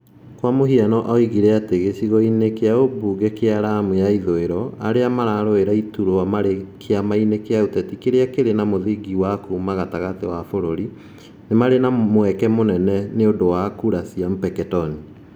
Kwa mũhiano, oigire atĩ, gĩcigo-inĩ kĩa ũmbunge kĩa Lamu ya ithũĩro, arĩa mararũĩra iturwa marĩ kĩama-inĩ kĩa ũteti kĩrĩa kĩrĩ na mũthingi wa kuuma gatagatĩ wa bũrũri, nĩ marĩ na mweke mũnene nĩ ũndũ wa kura cia Mpeketoni.